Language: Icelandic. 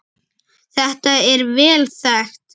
Þetta er vel þekkt.